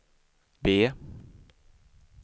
B